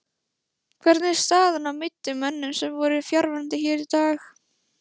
Hvernig er staðan á meiddum mönnum sem voru fjarverandi hér í dag?